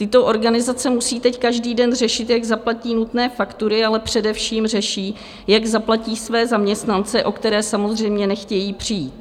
Tyto organizace musí teď každý den řešit, jak zaplatí nutné faktury, ale především řeší, jak zaplatí své zaměstnance, o které samozřejmě nechtějí přijít.